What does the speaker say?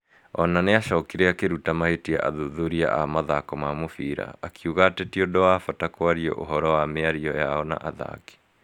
O na nĩ acokire akĩruta mahĩtia athuthuria a mathako ma mũbira. Akiuga atĩ ti ũndũ wa bata kwaria ũhoro wa mĩario yao na athaki.